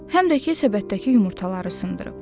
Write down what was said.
Həm də ki, səbətdəki yumurtaları sındırıb.